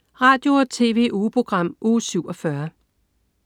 Radio- og TV-ugeprogram Uge 47